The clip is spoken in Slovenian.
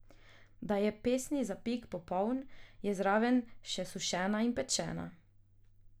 Da je pesni zapik popoln, je zraven še sušena in pečena.